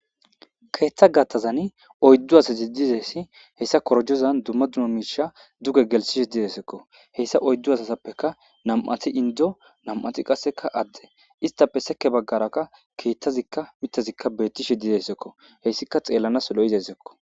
Keetha gaatazan oydu asati dizaysi heesa korojozan duma duma miisha duge gelsishe deesiko heysa oydu asatupeka nam'ati indo nam'ati kaseka atuma istape seke bagaraqa keethazika mithazika beetishe de'esiko heysika xeelanasi lo'izaysako.